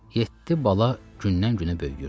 Yeddi bala gündən-günə böyüyürdü.